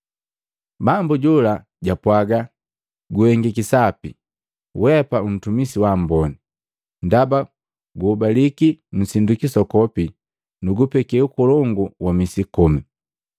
Bambu jola japwaaga, ‘Guhengiki Sapi, weapa untumisi waamboni. Ndaba guhobaliki nsindu kisokopi, nukupeke ukolongu wa misi komi!’